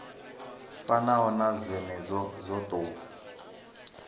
fanaho na dzenedzo dzo tou